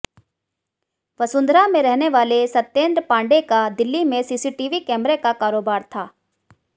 वसुंधरा में रहने वाले सत्येंद्र पांडेय का दिल्ली में सीसीटीवी कैमरे का कारोबार था